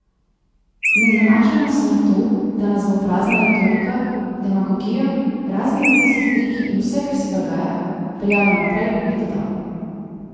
Ne zanašajmo se na to, da nas bo prazna retorika, demagogija, razni medijski triki in vse kar se dogaja, peljalo naprej, je dodal.